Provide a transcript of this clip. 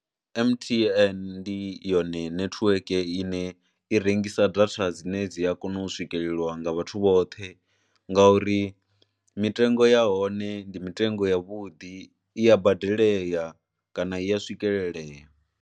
M_T_N ndi yone nethiweke ine i rengisa data dzine dzi a kona u swikelelwa nga vhathu vhoṱhe ngauri mitengo ya hone ndi mitengo ya vhuḓi, i ya badelelea kana i ya swikelelea.